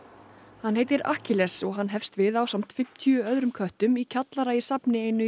hann heitir Akkiles og hann hefst við ásamt fimmtíu öðrum köttum í kjallara í safni einu í